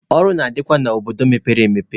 Ọrụ na-adịkwa n'obodo mepere emepe.